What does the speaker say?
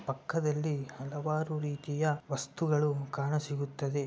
ಪಕ್ಕದಲ್ಲಿ ಹಲವಾರು ರೀತಿಯ ವಸ್ತುಗಳು ಕಾಣ ಸಿಗುತ್ತದೆ.